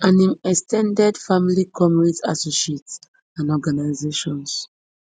and im ex ten ded family comrades associates and organisations